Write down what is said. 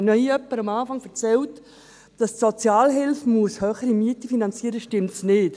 Wenn hier jemand zu Beginn erzählt, dass die Sozialhilfe höhere Mieten finanzieren muss, stimmt das einfach nicht.